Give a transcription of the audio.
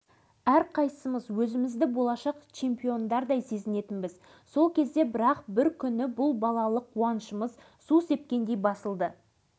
алашыбай біздің туған ағамыз сияқты өзінде бардың бәрімен қылдай бөліседі арал жеткіншектерінің алдынан жаңа бір өмір